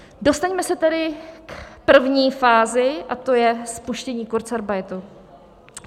Dostaňme se tedy k první fázi, a to je spuštění kurzarbeitu.